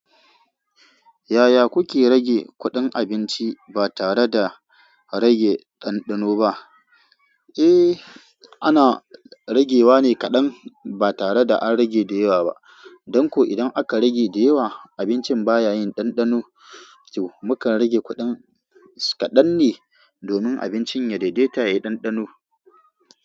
Yaya kuke rage kuɗin abinci ba tare da rage ɗanɗano ba? Eh, ana ragewa ne kaɗan ba tare da an rage da yawa ba. Don ko idan aka rage da yawa, abincin ba ya yin ɗanɗano. To, mukan rage kuɗin kaɗan ne domin abincin ya daidaita ya yi ɗanɗano.